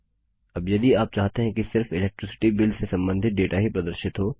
अब यदि आप चाहते हैं कि सिर्फ इलेक्ट्रिसिटी बिल से संबंधित डेटा ही प्रदर्शित हो